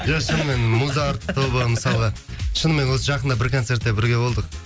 иә шынымен мұзарт тобы мысалға шынымен осы жақында бір концертте бірге болдық